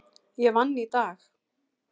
Ég vann í dag.